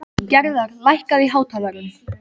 Gerðar, lækkaðu í hátalaranum.